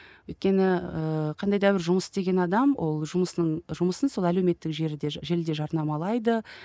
өйткені ііі қандай да бір жұмыс істеген адам ол жұмысының жұмысын сол әлеуметтік желіде жарнамалайды